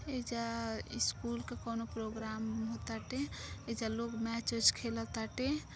एईज़ा school का कोनो programme हो ताटे ईज़ा लोग मैचे वेच खेला ताटे।